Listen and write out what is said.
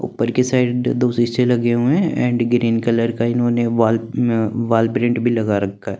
उपर की साइड दो सीसे लगे हुए है एंड ग्रीन कलर का इन्होने वाल प्रिंट भी लगा रखा--